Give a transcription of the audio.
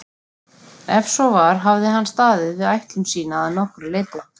Ef svo var hafði hann staðið við ætlun sína að nokkru leyti.